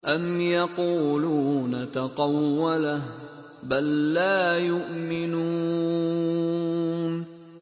أَمْ يَقُولُونَ تَقَوَّلَهُ ۚ بَل لَّا يُؤْمِنُونَ